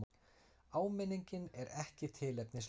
Áminningin er ekki tilefnislaus.